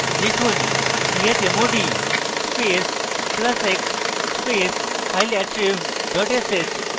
লিখুন chmod space plus plus x space fileattrib dot sh